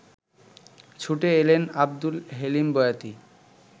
ছুটে এলেন আবদুল হেলিম বয়াতি